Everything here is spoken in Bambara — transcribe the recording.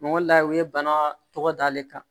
Mɔgɔ la u ye bana tɔgɔ d'ale kan